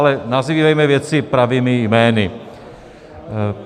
Ale nazývejme věci pravými jmény.